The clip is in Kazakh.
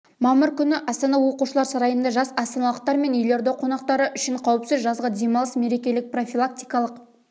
мамыр күні астана оқушылар сарайында жас астаналықтар мен елорда қонақтары үшін қауіпсіз жазғы демалыс мерекелік профилактикалық